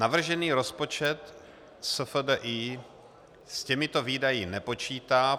Navržený rozpočet SFDI s těmito výdaji nepočítá.